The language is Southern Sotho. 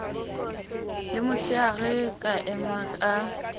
le motsheare ka ema ka